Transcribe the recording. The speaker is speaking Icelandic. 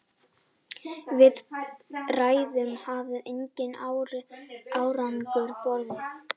Viðræður hafa engan árangur borið.